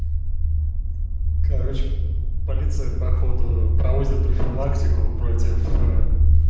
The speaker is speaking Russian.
короче полиция походу проводит профилактику против